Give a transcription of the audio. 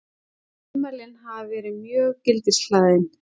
Ummælin hafi verið mjög gildishlaðin